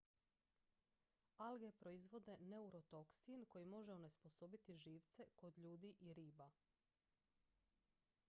alge proizvode neurotoksin koji može onesposobiti živce kod ljudi i riba